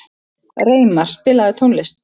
Reimar, spilaðu tónlist.